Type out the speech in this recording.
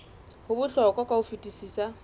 ho bohlokwa ka ho fetisisa